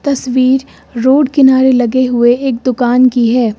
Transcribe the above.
तस्वीर रोड किनारे लगे हुए एक दुकान की है।